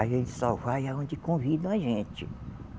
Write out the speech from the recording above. A gente só vai aonde convidam a gente.